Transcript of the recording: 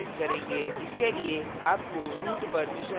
इसके लिए आपको root permissions की आवश्यकता है